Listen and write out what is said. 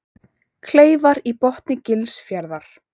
Kleifar í botni Gilsfjarðar.